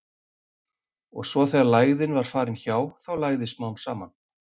Og svo þegar lægðin var farin hjá, þá lægði smám saman.